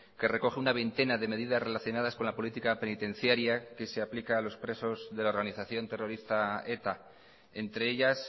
que recoge una veintena de medidas relacionadas con la política penitenciaria que se aplica a los presos de la organización terrorista eta entre ellas